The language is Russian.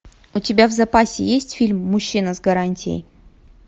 у тебя в запасе есть фильм мужчина с гарантией